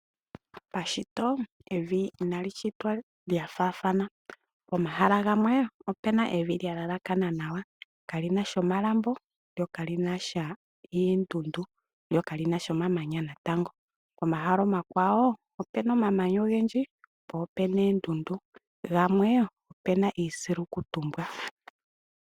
Pashito evi inali shitwa lya faathana. Pomahala gamwe ope na evi lya yelakana nawa, ka li na omalambo lo ka li na oondundu, lyo ka li na omamanya natango. Pomahala omakwawo ope na omamanya ogendji po ope na oondundu, gamwe ope na iisilukutumbwa.